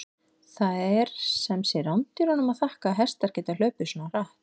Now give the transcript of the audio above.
Það er sem sé rándýrunum að þakka að hestar geta hlaupið svona hratt!